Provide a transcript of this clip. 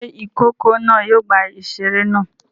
Ṣé ìkókó náà yóò gba ìṣeré náà?